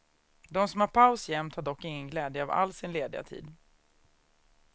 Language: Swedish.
De som har paus jämt har dock ingen glädje av all sin lediga tid.